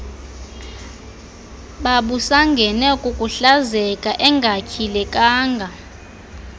babusangene kukuhlazeka engatyhilekanga